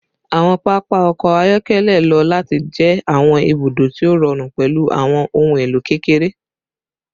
Awọn papa ọkọ ayọkẹlẹ lo lati jẹ awọn ibudo ti o rọrun pẹlu awọn ohun elo kekere